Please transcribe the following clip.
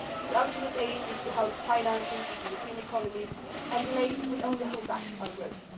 The ultimate aim is to help the financing of the European economy and delay will only hold back our growth.